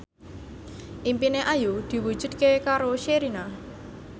impine Ayu diwujudke karo Sherina